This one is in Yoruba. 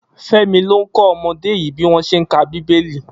Femi ló kọ ọmọdé yi biwọn ṣé n ká bibéli